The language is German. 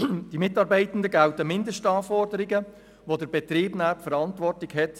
Für die Mitarbeitenden gelten Mindestanforderungen, deren Sicherstellung der Betrieb verantworten muss.